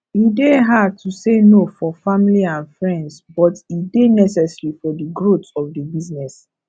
e dey hard to say no for family and friends but e dey necessary for di growth of di business